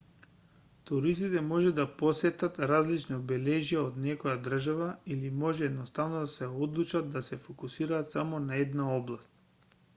туристите може да посетат различни обележја од некоја држава или може едноставно да се одлучат да се фокусираат само на една област